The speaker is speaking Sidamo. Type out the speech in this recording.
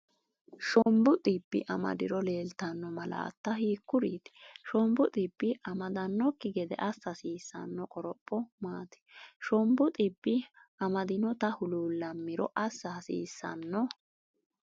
Shombu dhibbi amadiro leellitanno malaatta hiikkuriiti? Shombu dhibbi amadannokki gede assa hasiissanno qoropho maati? Shombu dhibbi amadinota huluullammiro assa hasiissanno?